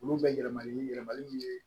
Olu bɛ yɛlɛma ni yɛlɛmaliw ye